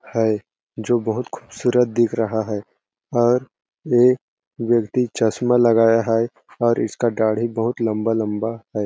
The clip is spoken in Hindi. है जो बहुत खुबसूरत दिख रहा है और ये व्यक्ति चश्मा लगाया है और इसका दाड़ी बहुत लम्बा -लम्बा है।